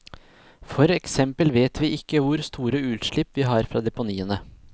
For eksempel vet vi ikke hvor store utslipp vi har fra deponiene.